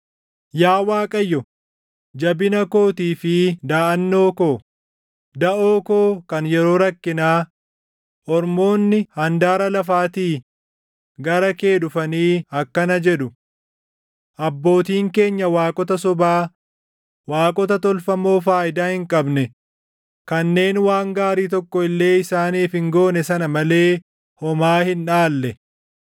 Yaa Waaqayyo, jabina kootii fi daʼannoo ko, daʼoo koo kan yeroo rakkinaa, ormoonni handaara lafaatii gara kee dhufanii akkana jedhu, “Abbootiin keenya waaqota sobaa, waaqota tolfamoo faayidaa hin qabne kanneen waan gaarii tokko illee isaaniif hin goone sana malee // homaa hin dhaalle.